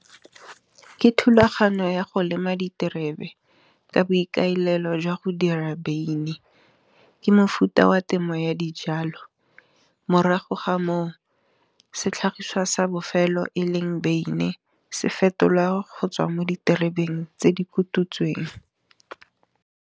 Ke thulaganyo ya go lema diterebe ka boikaelelo jwa go dira beine. Ke mofuta wa temo ya dijalo, morago ga moo setlhagiswa sa bofelo e leng beine, se fetolwa go tswa mo diterebeng tse di kututsweng.